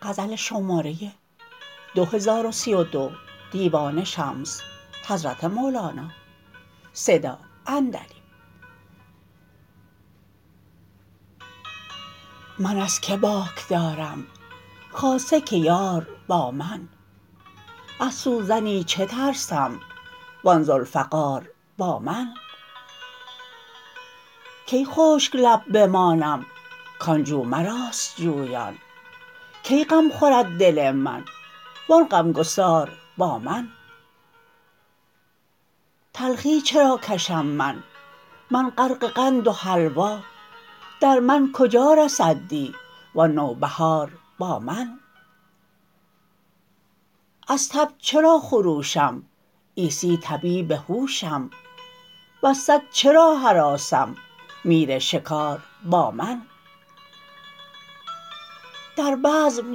من از کی باک دارم خاصه که یار با من از سوزنی چه ترسم و آن ذوالفقار با من کی خشک لب بمانم کان جو مراست جویان کی غم خورد دل من و آن غمگسار با من تلخی چرا کشم من من غرق قند و حلوا در من کجا رسد دی و آن نوبهار با من از تب چرا خروشم عیسی طبیب هوشم وز سگ چرا هراسم میر شکار با من در بزم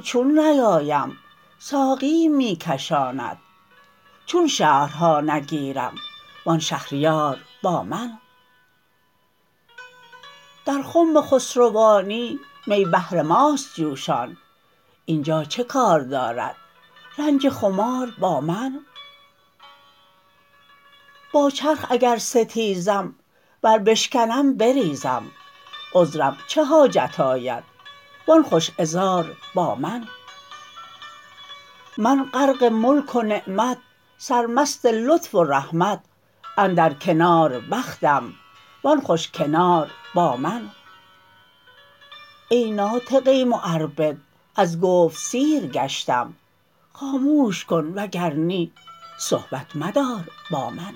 چون نیایم ساقیم می کشاند چون شهرها نگیرم و آن شهریار با من در خم خسروانی می بهر ماست جوشان این جا چه کار دارد رنج خمار با من با چرخ اگر ستیزم ور بشکنم بریزم عذرم چه حاجت آید و آن خوش عذار با من من غرق ملک و نعمت سرمست لطف و رحمت اندر کنار بختم و آن خوش کنار با من ای ناطقه معربد از گفت سیر گشتم خاموش کن وگر نی صحبت مدار با من